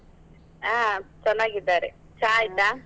ಹಾ ಚನ್ನಾಗಿದ್ದಾರೆ, ಚಾ ?